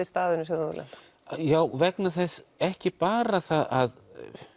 staðurinn sem þú hefur lent á já vegna þess ekki bara að